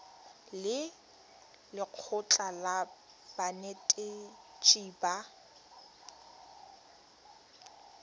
le lekgotlha la banetetshi ba